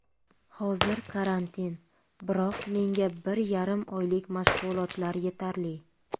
Hozir karantin, biroq menga bir yarim oylik mashg‘ulotlar yetarli.